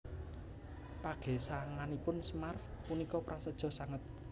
Pagesanganipun Semar punika prasaja sanget